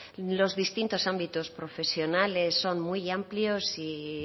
los distintos ámbitos profesionales son muy amplios y